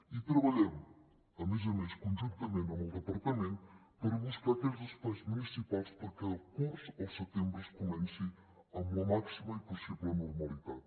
i treballem a més a més conjuntament amb el departament per buscar aquells espais municipals perquè el curs al setembre es comenci amb la màxima i possible normalitat